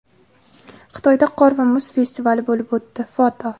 Xitoyda qor va muz festivali bo‘lib o‘tdi (foto).